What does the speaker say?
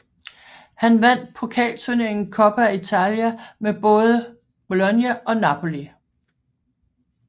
Han vandt pokalturneringen Coppa Italia med både Bologna og Napoli